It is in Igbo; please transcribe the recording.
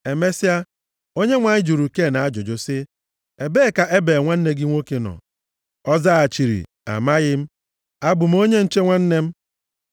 Emesịa, Onyenwe anyị jụrụ Ken ajụjụ sị, “Ebee ka Ebel nwanne gị nwoke nọ?” Ọ zaghachiri, “Amaghị m. Abụ m onye nche nwanne m?”